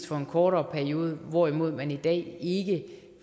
for en kortere periode hvorimod man i dag